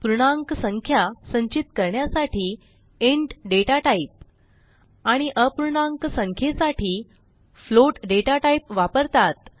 पूर्णांक संख्या संचित करण्यासाटी इंट दाता टाइप आणि अपूर्णांक संख्येसाठी फ्लोट दाता टाइप वापरतात